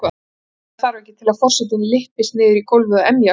Meira þarf ekki til að forsetinn lyppist niður í gólfið og emji af hlátri.